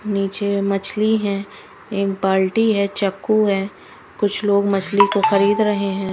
नीचे मछली है एक बाल्टी है चक्कू है कुछ लोग मछली को खरीद रहे है।